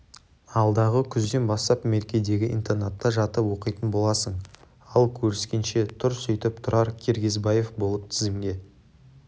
алдағы күзден бастап меркедегі интернатта жатып оқитын боласың ал көріскенше тұр сөйтіп тұрар киргизбаев болып тізімге